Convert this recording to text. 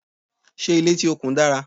Ṣé ilé tí o kùn dára?